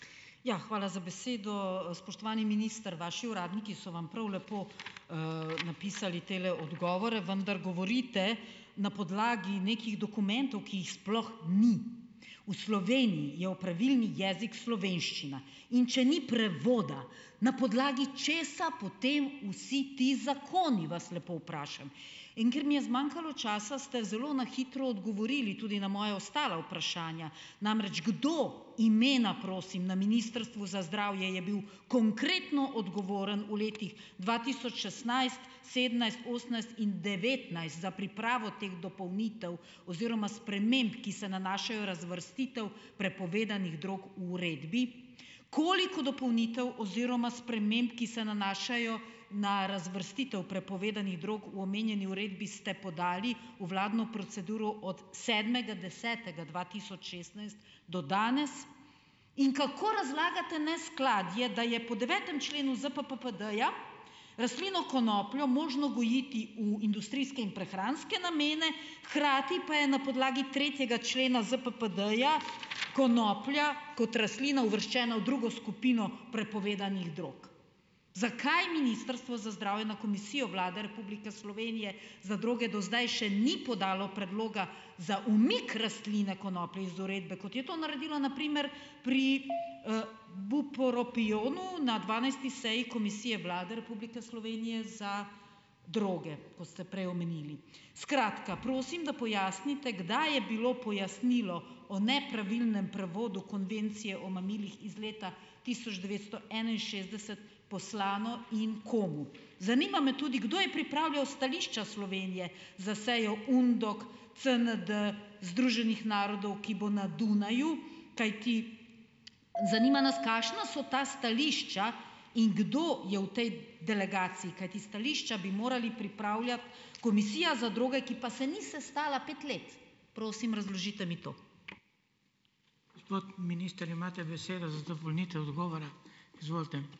Ja, hvala z besedo. Spoštovani minister, vaši uradniki so vam prav lepo, napisali tele odgovore, vendar govorite na podlagi nekih dokumentov, ki jih sploh ni. V Sloveniji je opravilni jezik slovenščina. In če ni prevoda, na podlagi česa potem vsi ti zakoni, vas lepo vprašam? In ker mi je zmanjkalo časa, ste zelo na hitro odgovorili tudi na moja ostala vprašanja. Namreč kdo, imena prosim, na Ministrstvu za zdravje je bil, konkretno, odgovoren v letih dva tisoč šestnajst, sedemnajst, osemnajst in devetnajst za pripravo teh dopolnitev oziroma sprememb, ki se nanašajo razvrstitev prepovedanih drog v uredbi? Koliko dopolnitev oziroma sprememb, ki se nanašajo na razvrstitev prepovedanih drog v omenjeni uredbi, ste podali v vladno proceduro od sedmega desetega dva tisoč šestnajst do danes? In kako razlagate neskladje, da je po devetem členu ZPPPD-ja rastlino konopljo možno gojiti v industrijske in prehranske namene, hkrati pa je na podlagi tretjega člena ZPPD-ja konoplja kot rastlina uvrščena v drugo skupino prepovedanih drog? Zakaj Ministrstvo za zdravje na Komisijo Vlade Republike Slovenije za droge do zdaj še ni podalo predloga za umik rastline konoplje iz uredbe, kot je to naredilo na primer pri, bupropionu na dvanajsti seji Komisije Vlade Republike Slovenije za droge, kot ste prej omenili? Skratka, prosim, da pojasnite, kdaj je bilo pojasnilo o nepravilnem prevodu konvencije o mamilih iz leta tisoč devetsto enainšestdeset poslano in komu? Zanima me tudi, kdo je pripravljal stališča Slovenije za sejo UNDOK CND Združenih narodov, ki bo na Dunaju, kajti zanima nas, kakšna so ta stališča in kdo je v tej delegaciji. Kajti stališča bi morali pripravljati Komisija za droge, ki pa se ni sestala pet let. Prosim, razložite mi to.